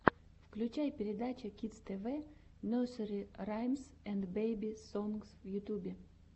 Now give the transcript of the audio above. включай передача кидс тэ вэ нерсери раймс энд бэби сонгс в ютюбе